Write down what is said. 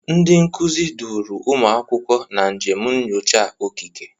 Ndị nkuzi duuru ụmụ akwụkwọ na njem nyocha okike.